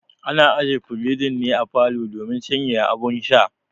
Ana aje firijin ne a falo domin sanyaya abun sha